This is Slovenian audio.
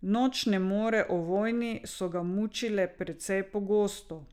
Nočne more o vojni so ga mučile precej pogosto.